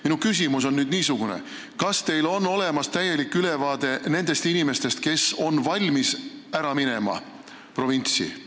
Minu küsimus on niisugune: kas teil on olemas täielik ülevaade nendest inimestest, kes on valmis provintsi minema?